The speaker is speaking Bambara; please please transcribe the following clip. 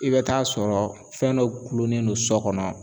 I bɛ t'a sɔrɔ fɛn dɔ gulonnen do sɔ kɔnɔ